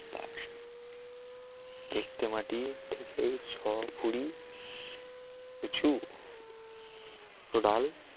দেখতে মাটি থেকেই ছ পুরি উচু ডাল